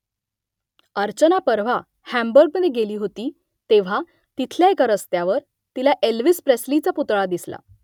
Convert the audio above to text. अर्चना परवा हांबुर्गमधे गेली होती तेव्हा तिथल्या एका रस्त्यावर तिला एल्व्हिस प्रेस्लीचा पुतळा दिसला